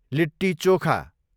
litti chokha